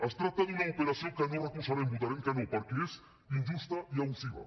es tracta d’una operació que no recolzarem votarem que no perquè és injusta i abusiva